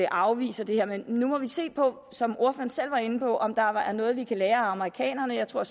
afviser det her men nu må vi se på som ordføreren selv var inde på om der er noget vi kan lære af amerikanerne jeg tror